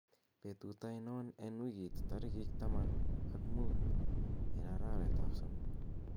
betut ainon en wigit tarigit taman ak muut en arawet ab somok